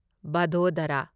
Vadodara